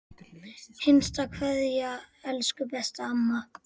HINSTA KVEÐJA Elsku besta amma.